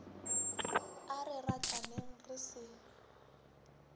a re rataneng re se